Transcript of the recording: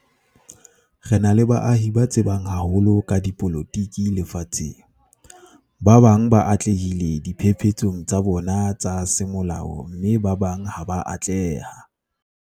Re na le baahi ba tsebang haholo ka dipolotiki lefatsheng. Ba bang ba atlehile diphephetsong tsa bona tsa semolao mme ba bang ha ba a atleha.